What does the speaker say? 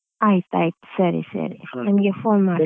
ಆಯ್ತ್ ಆಯ್ತ್ ಸರಿ ಸರಿ phone .